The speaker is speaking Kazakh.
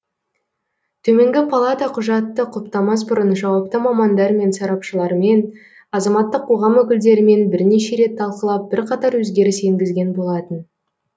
төменгі палата құжатты құптамас бұрын жауапты мамандармен сарапшылармен азаматтық қоғам өкілдерімен бірнеше рет талқылап бірқатар өзгеріс енгізген болатын